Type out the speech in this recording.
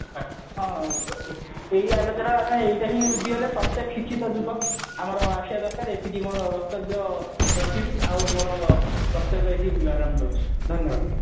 ହଁ ଏଇ ଆଲୋଚନାରେ ଏଇଆ ହିଁ ଆମେ ବୁଝିଗଲେ ପ୍ରତ୍ୟକ କିଛି ଟା ଯୁବକ ଆମର ଆସିବା ଦରକାର ଏତିକି ମୋର ବକ୍ତବ୍ଯ ରଖିବି ଆଉ ମୋର ବକ୍ତବ୍ଯ ମୋର ପାରମ୍ଭ ହଉଛି ଧନ୍ୟବାଦ